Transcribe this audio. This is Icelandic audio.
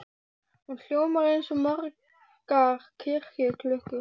Hún hljómar eins og margar kirkjuklukkur.